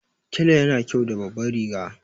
Tela yana kyau da babban riga